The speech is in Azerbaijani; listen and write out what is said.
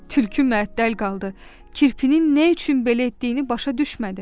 Tülkü məəttəl qaldı, kirpinin nə üçün belə etdiyini başa düşmədi.